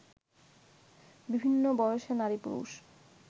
বিভিন্ন বয়সের নারী-পুরুষ